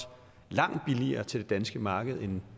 langt billigere til det danske marked end